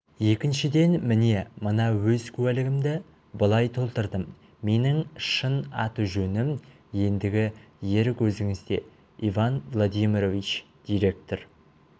екіншіден міне мына өз куәлігімді былай толтырдым менің шын аты-жөнім ендігі ерік өзіңізде иван владимирович директор